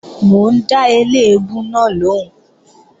Mò ń dá eléèbú náà lòún